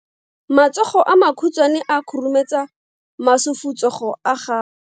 Matsogo a makhutshwane a khurumetsa masufutsogo a gago.